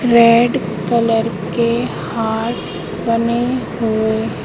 red colour के heart बने हुए--